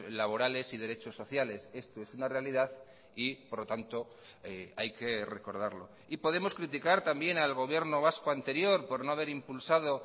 laborales y derechos sociales esto es una realidad y por lo tanto hay que recordarlo y podemos criticar también al gobierno vasco anterior por no haber impulsado